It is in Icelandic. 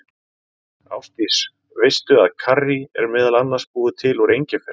Ásdís, veistu að karrí er meðal annars búið til úr engifer?